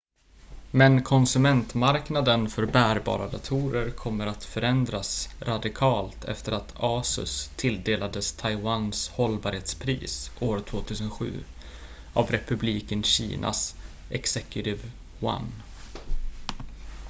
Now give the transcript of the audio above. men konsumentmarknaden för bärbara datorer kommer att förändras radikalt efter att asus tilldelades taiwans hållbarhetspris år 2007 av republiken kinas executive yuan